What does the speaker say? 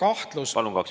Aitäh!